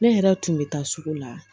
Ne yɛrɛ tun bɛ taa sugu la